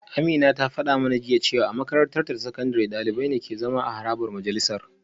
Amina ta fada mana jiya cewa a makarantarta ta sakandare dalibai ne ke zama a harabar majalisar